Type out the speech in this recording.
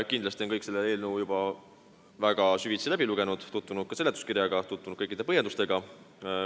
Kindlasti on kõik selle eelnõu juba süvitsi läbi lugenud ja on tutvunud ka seletuskirja ning kõikide põhjendustega.